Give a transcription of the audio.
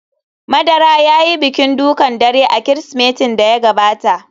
Madara ya yi bikin dukan dare a Kirsimetin da ya gabata